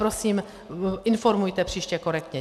Prosím, informujte příště korektně.